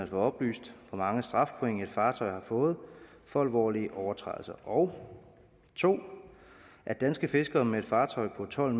få oplyst hvor mange strafpoint et fartøj har fået for alvorlige overtrædelser og 2 at danske fiskere med et fartøj på tolv